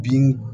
Bin